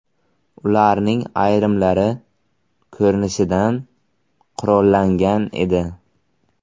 Ularning ayrimlari, ko‘rinishidan, qurollangan edi.